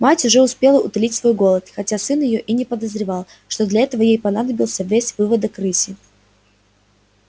мать уже успела утолить свой голод хотя сын её и не подозревал что для этого ей понадобился весь выводок рыси